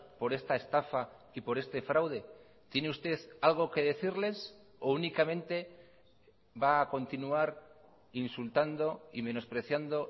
por esta estafa y por este fraude tiene usted algo que decirles o únicamente va a continuar insultando y menospreciando